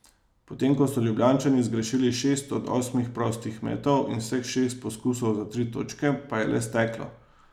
Potem ko so Ljubljančani zgrešili šest od osmih prostih metov in vseh šest poskusov za tri točke pa je le steklo.